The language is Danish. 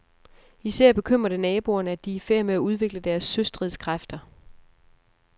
Især bekymrer det naboerne, at de er i færd med at udvikle deres søstridskræfter.